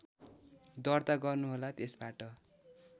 दर्ता गर्नुहोला त्यसबाट